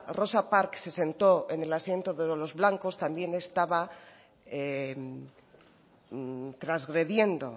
rosa parks se sentó en el asiento de los blancos también estaba transgrediendo